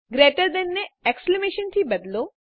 greater than ને exclamation થી બદલો